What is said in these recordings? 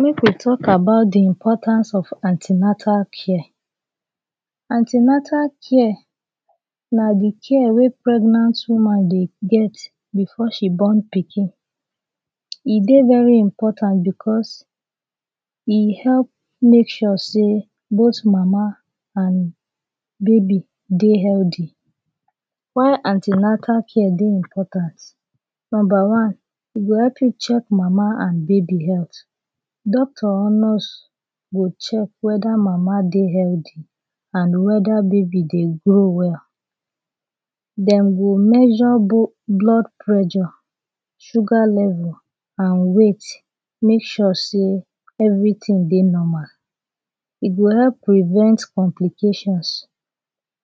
Make we talk about de importance of an ten atal care. An ten atal care na de care wey pregnant woman de get before she born pikin. E dey very important becos e help make sure sey dos mama and baby dey healthy. How an ten atal care dey important? Number one, e go help you check mama and baby health. Doctor or nurse go check weda ma dey healthy and weda baby dey grow well. Dem go measure, blood pressure, sugar level and weight, make sure sey everytin dey normal. E go help prevent complications,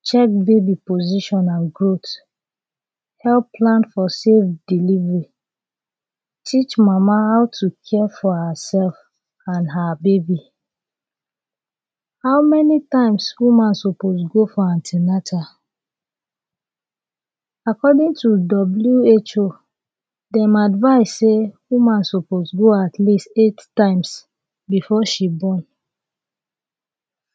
check baby position and growth, help plan for safe delivery, teach mama how to care for herself and her baby. How many times woman suppose go for an ten atal? According to WHO, dem advice sey woman suppose go at least eight times before she born.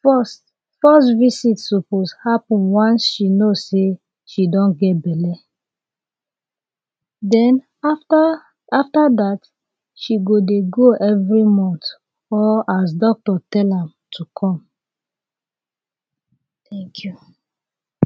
First, first visit suppose happen once she know sey she don get belle. Den, after, after dat, she go dey go every month or as Doctor tell am to come. Thank you.